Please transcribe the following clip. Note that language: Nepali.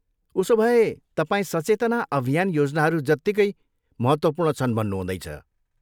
उसोभए, तपाईँ सचेतना अभियान योजनाहरू जत्तिकै महत्त्वपूर्ण छन् भन्नु हुँदैछ।